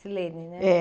Silene, né? É.